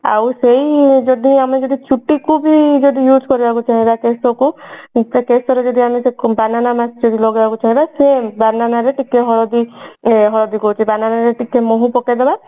ଆଉ ସେଇ ଯଦି ଗୋଟେ ଛୁଟିକୁ ବି ଯଦି use କରିବାକୁ ଚାହିଁବା ଶେଷକୁ କେଶରେ ବି ଯଦି ଆମେ banana mask ଯଦି ଲଗେଇବାକୁ ଚାହିଁବା ସେ banana ରେ ଟିକେ ହଳଦୀ ଏ ହଳଦୀ କହୁଛି banana ରେ ଟିକେ ମହୁ ପକେଇଦେବା